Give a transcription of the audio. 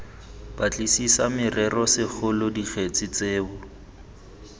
batlisisa morero segolo dikgetse tseo